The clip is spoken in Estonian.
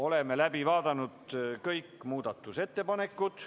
Oleme läbi vaadanud kõik muudatusettepanekud.